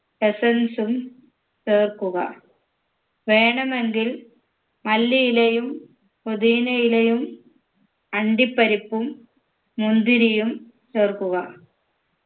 essence ഉം ചേർക്കുക വേണമെങ്കിൽ മല്ലിയിലയും പൊതീനയിലയും അണ്ടിപ്പരിപ്പും മുന്തിരിയും ചേർക്കുക